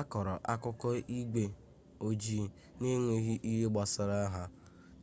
akọrọ akụkọ igwe ojii n'enweghị ihe gbasara ha